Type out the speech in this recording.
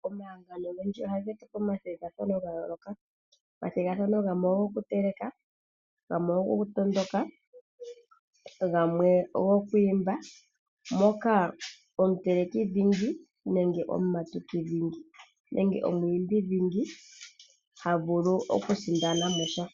Omahangano ogendji oha ge tupe omathigathano ga yooloka. Omathigathano gamwe ogo ku teleka, gamwe ogo ku tondoka, gamwe ogo ku imba, moka omutelekidhingi nenge omumatukidhingi, nenge omu imbi dhingi ha vulu okusindana mo sha.